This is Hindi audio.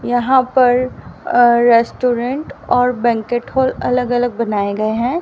यहां पर अ रेस्टोरेंट और बैंक्वेट हॉल अलग-अलग बनाए गए हैं।